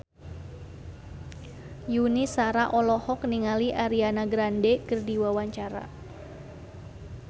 Yuni Shara olohok ningali Ariana Grande keur diwawancara